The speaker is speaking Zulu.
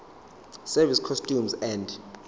service customs and